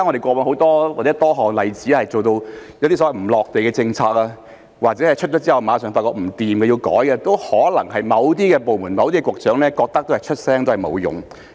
過往我們有多個例子是一些所謂"離地"的政策，或者推出後馬上發現不可行而要修改，都可能是某些部門、某些局長認為發聲沒用所致。